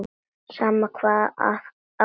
Sama hvað á gengur.